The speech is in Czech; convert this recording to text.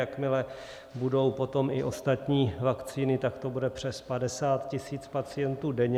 Jakmile budou potom i ostatní vakcíny, tak to bude přes 50 tisíc pacientů denně.